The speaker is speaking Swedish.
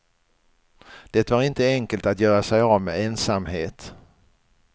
Det var inte enkelt att göra sig av med ensamhet.